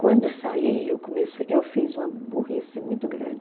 Quando saí, eu eu fiz uma burrice muito grande.